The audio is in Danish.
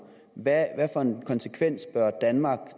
hvad for en konsekvens bør danmark